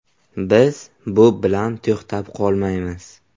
Biz bu bilan to‘xtab qolmaymiz.